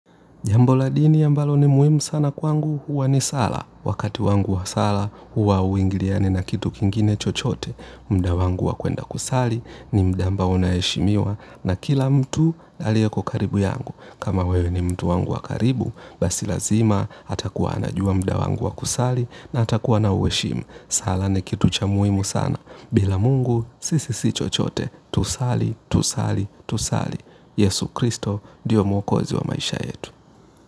Jambo la dini ambalo ni muhimu sana kwangu huwa ni sala. Wakati wangu wa sala huwa hauingiliani na kitu kingine chochote. Muda wangu wa kwenda kusali ni muda ambao unaheshimiwa na kila mtu alieko karibu yangu. Kama wewe ni mtu wangu wa karibu basi lazima atakuwa anajua muda wangu wa kusali na atakuwa anauheshimu. Sala ni kitu cha muhimu sana. Bila mungu sisi si chochote tusali tusali tusali. Yesu Kristo ndio mwokozi wa maisha yetu.